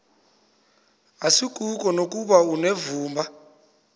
asikuko nokuba unevumba